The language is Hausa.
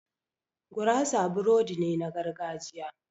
Gurasa burodi ne na gargajiya